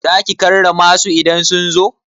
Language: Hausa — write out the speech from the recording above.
Za ki karrama su idan sun zo?